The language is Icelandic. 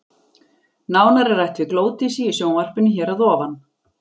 Nánar er rætt við Glódísi í sjónvarpinu hér að ofan.